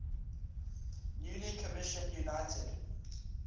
newly commissioned united